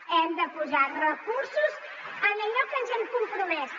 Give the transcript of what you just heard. hem de posar recursos en allò que ens hi hem compromès